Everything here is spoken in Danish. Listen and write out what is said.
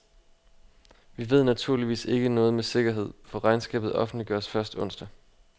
Vi ved naturligvis ikke noget med sikkerhed, for regnskabet offentliggøres først onsdag.